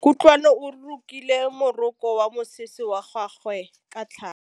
Kutlwanô o rokile morokô wa mosese wa gagwe ka tlhale.